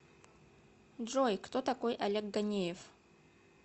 джой кто такой олег ганеев